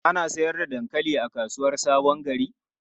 Ana sayar da dankali a kasuwar Sabon Gari?